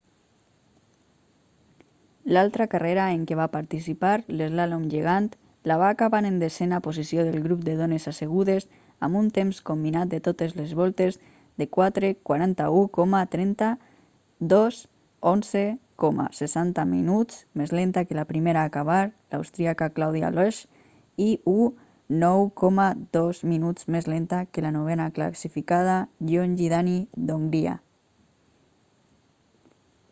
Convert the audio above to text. l'altra carrera en què va participar l'eslàlom gegant la va acabar en desena posició del grup de dones assegudes amb un temps combinat de totes les voltes de 4:41,30; 2:11,60 minuts més lenta que la primera a acabar l'austríaca claudia loesch i 1:09,02 minuts més lenta que la novena classificada gyöngyi dani d'hongria